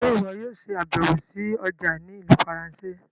Ṣe iwọ yóò ṣabẹwo sí ọja ni Ìlú Faransé?